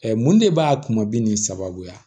mun de b'a kuma bi nin sababuya